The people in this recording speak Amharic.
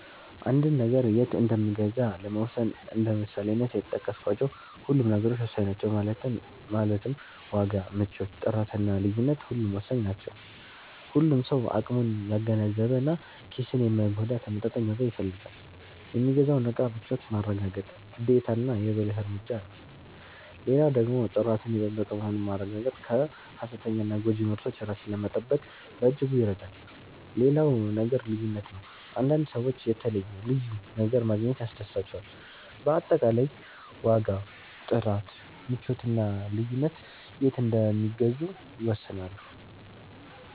አንድን ነገር የት እንምገዛ ለመወሰን እንደ ምሳሌነት የጠቀስካቸው ሁሉም ነገሮች ወሳኝ ናቸው ማለትም ዋጋ፣ ምቾት፣ ጥራት እና ልዩነት ሁሉም ወሳኝ ናቸው። ሁሉም ሰው አቅሙን ያገናዘበ እና ኪስን የማይጎዳ ተመጣጣኝ ዋጋ ይፈልጋል። የሚገዛውን እቃ ምቾት ማረጋገጥ ግዴታና የ ብልህ እርምጃ ነው። ሌላው ደግሞ ጥራቱን የጠበቀ መሆኑን ማረጋገጥ ከ ሃሰተኛና ጎጂ ምርቶች ራስን ለመጠበቅ በእጅጉ ይረዳል። ሌላው ነገር ልዩነት ነው፤ አንዳንድ ሰዎች የተለየ(ልዩ) ነገር ማግኘት ያስደስታቸዋል። በአጠቃላይ ዋጋ፣ ጥራት፣ ምቾት እና ልዩነት የት እንደሚገዙ ይወስናሉ።